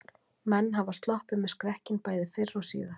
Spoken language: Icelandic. Menn hafa sloppið með skrekkinn bæði fyrr og síðar.